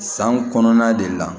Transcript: San kɔnɔna de la